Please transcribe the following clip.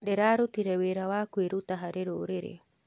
Ndĩrarutire wĩra wa kwĩrutĩra harĩ rũrĩrĩ.